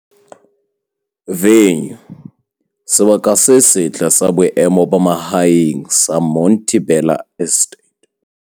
Venue- Sebaka se setle sa boemo ba mahaeng sa Monte Bella Estate.